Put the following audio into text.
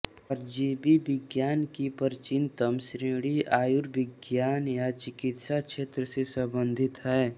परजीवी विज्ञान की प्राचीनतम श्रेणी आयुर्विज्ञान या चिकित्सा क्षेत्र से संबंधित है